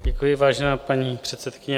Děkuji, vážená paní předsedkyně.